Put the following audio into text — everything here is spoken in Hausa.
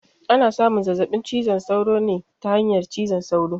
Ana samun zazzaɓin cizon sauro ne ta hanyar cizon sauro